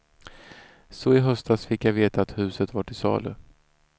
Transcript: Så i höstas fick jag veta att huset var till salu.